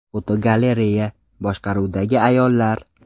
Fotogalereya: Boshqaruvdagi ayollar.